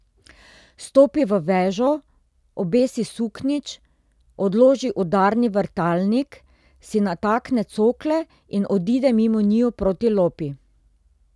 Stopi v vežo, obesi suknjič, odloži udarni vrtalnik, si natakne cokle in odide mimo njiju proti lopi.